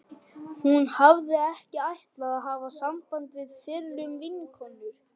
Hún hafði ekki ætlað að hafa samband við fyrrum vinkonur